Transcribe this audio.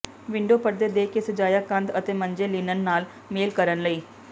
window ਪਰਦੇ ਦੇ ਕੇ ਸਜਾਇਆ ਕੰਧ ਅਤੇ ਮੰਜੇ ਲਿਨਨ ਨਾਲ ਮੇਲ ਕਰਨ ਲਈ